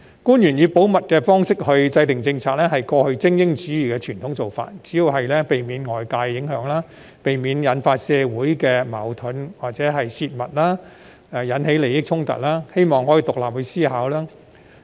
官員以保密方式制訂政策，是過去精英主義的傳統做法，主要是避免受外界影響、避免引發社會矛盾或因泄密而引起利益衝突，希望可以獨立思考。